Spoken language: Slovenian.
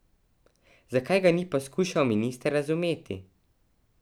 Zakaj ga ni poskušal minister razumeti?